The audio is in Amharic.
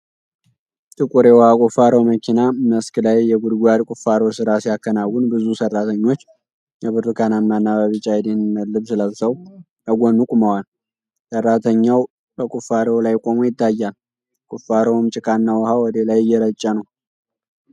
ጥቁር የውሃ ቁፋሮ መኪና መስክ ላይ የጉድጓድ ቁፋሮ ሥራ ሲያከናውን ብዙ ሰራተኞች በብርቱካናማና በቢጫ የደህንነት ልብስ ለብሰው ከጎኑ ቆመዋል። ሰራተኛው በቁፋሮው ላይ ቆሞ ይታያል፤ ቁፋሮውም ጭቃና ውሃ ወደ ላይ እየረጨ ነው።